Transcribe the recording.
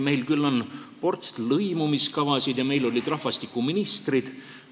Meil on küll ports lõimumiskavasid ja meil olid rahvastikuministrid.